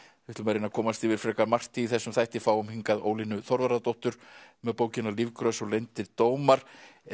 við ætlum að reyna að komast yfir frekar margt í þessum þætti fáum hingað Ólínu Þorvarðardóttur með bókina Lífgrös og leyndir dómar